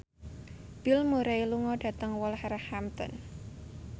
Bill Murray lunga dhateng Wolverhampton